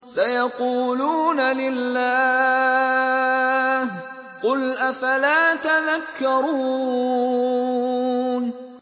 سَيَقُولُونَ لِلَّهِ ۚ قُلْ أَفَلَا تَذَكَّرُونَ